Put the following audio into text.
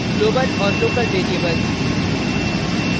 global और local variables